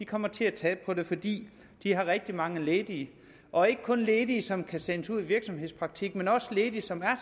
kommer til at tabe på det fordi de har rigtig mange ledige og ikke kun ledige som kan sendes ud i virksomhedspraktik men også ledige som er